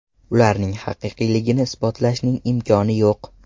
Ularning haqiqiyligini isbotlashning imkoni yo‘q.